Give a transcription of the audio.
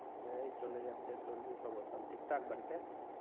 এই চলে যাচ্ছে তোর কি খবর সব ঠিক ঠাক বাড়িতে